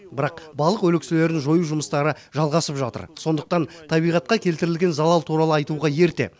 бірақ балық өлекселерін жою жұмыстары жалғасып жатыр сондықтан табиғатқа келтірілген залал туралы айтуға ерте